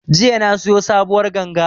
Jiya na siyo sabuwar ganga